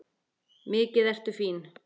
Mikið ertu fín!